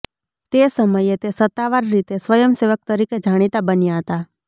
તે સમયે તે સત્તાવાર રીતે સ્વયંસેવક તરીકે જાણીતા બન્યા હતા